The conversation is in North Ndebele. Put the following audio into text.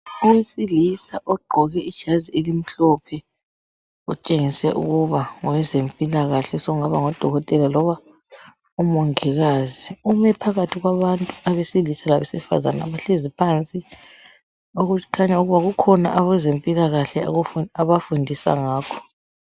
Owesilisa ogqoke ijazi elimhlophe otshengisela ukuthi ngowezempilakahle osokungaba ngudokotela loba umongikazi. Ume phakathi kwabantu abesilisa labesifazane abahlezi okukhanya ukuba kukhona abezempilakahle abafundisa ngakho.